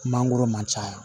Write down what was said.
Mangoro man ca yan